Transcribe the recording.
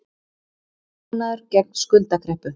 Viðbúnaður gegn skuldakreppu